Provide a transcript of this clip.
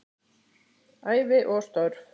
Ævi og störf